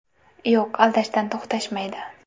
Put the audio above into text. Yo‘q aldashdan to‘xtashmaydi.